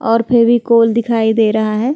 और फेविकोल दिखाई दे रहा है।